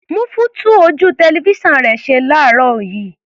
Múfú tún ojú tẹlifísàn rẹ̀ ṣe ní àárọ̀ yìí.